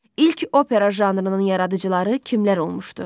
İlk opera janrının yaradıcıları kimlər olmuşdu?